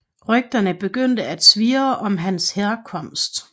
Rygterne begyndte at svirre om hans herkomst